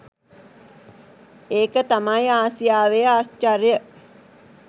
ඒක තමයි ආසියාවේ ආශ්චර්යය !